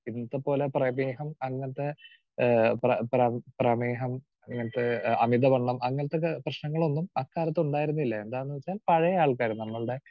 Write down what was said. Speaker 2 ഇന്നത്തെപോലെ പ്രമേഹം അങ്ങനത്തെ ആഹ് പ്ര പ്ര പ്രമേഹം അങ്ങനത്തെ അമിതവണ്ണം അങ്ങനത്തെ പ്രശ്നങ്ങളൊന്നും അക്കാലത്ത് ഉണ്ടായിരുന്നില്ല. എന്താന്ന് വെച്ചാൽ പഴയ ആൾക്കാര് നമ്മളുടെ